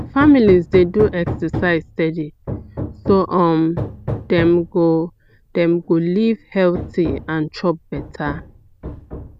families dey do exercise steady so um dem go dem go live healthy and chop better